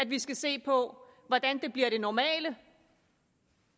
vi skal se på hvordan det bliver det normale